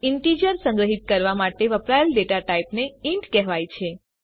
integer સંગ્રહીત કરવા માટે વપરાયેલ ડેટા ટાઇપને ઇન્ટ કહેવાય છે